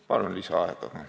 Palun lisaaega!